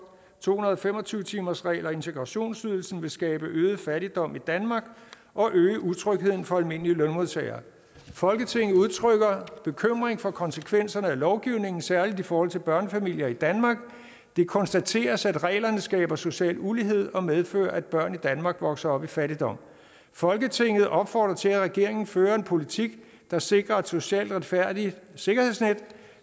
to hundrede og fem og tyve timersregel og integrationsydelse vil skabe øget fattigdom i danmark og øge utrygheden for almindelige lønmodtagere folketinget udtrykker bekymring for konsekvenserne af lovgivningen særligt i forhold til børnefamilier i danmark det konstateres at reglerne skaber social ulighed og medfører at børn i danmark vokser op i fattigdom folketinget opfordrer til at regeringen fører politik der sikrer et socialt retfærdigt sikkerhedsnet